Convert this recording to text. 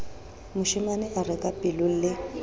moshemane a re kapelong le